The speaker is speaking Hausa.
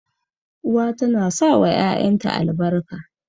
Uwa tana sawa ƴaƴanta albarka.